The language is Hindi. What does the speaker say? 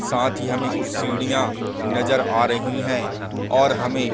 साथ ही हमें कुछ सीढ़ियाँ नजर आ रही हैं और हमें --